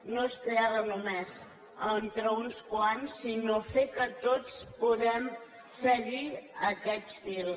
no és crear la només entre uns quants sinó fer que tots puguem seguir aquest fil